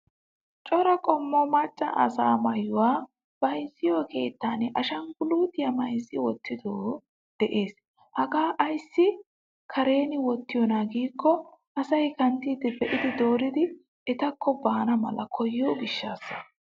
Cora qommo macca asa maayuwaa bayzziyo keettan ashangulutiyaa mayzzidi wootido de'ees. Hagaa aysi karen wootiyona giiko asay kanttidi beidi dooridi ettako baana mala koyiyo gishshasa.